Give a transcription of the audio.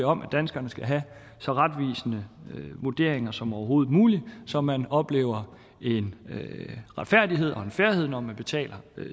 om at danskerne skal have så retvisende vurderinger som overhovedet muligt så man oplever en retfærdighed og en fairness når man betaler